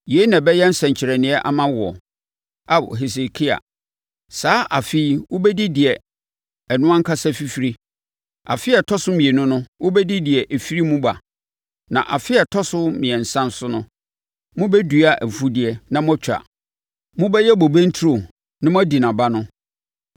Yei na ɛbɛyɛ nsɛnkyerɛnneɛ ama woɔ, Ao Hesekia: “Saa afe yi wobɛdi deɛ ɛno ankasa fifirie, afe a ɛtɔ so mmienu no, wobɛdi deɛ ɛfiri mu ba. Na afe a ɛtɔ so mmiɛnsa so no, mobɛdua mfudeɛ, na moatwa. Mobɛyɛ bobe nturo, na moadi nʼaba no.